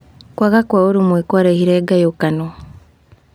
Kwaga kwa ũrũmwe kũarehire ngayũkano.